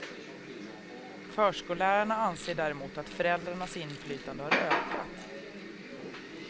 Förskollärarna anser däremot att föräldrarnas inflytande har ökat.